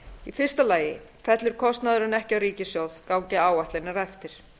í fyrsta lagi fellur kostnaðurinn ekki á ríkissjóð gangi áætlanir eftir